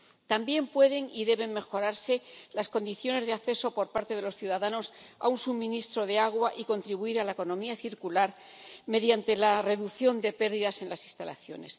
También pueden y deben mejorarse las condiciones de acceso por parte de los ciudadanos al suministro de agua, y hay que contribuir a la economía circular mediante la reducción de pérdidas en las instalaciones.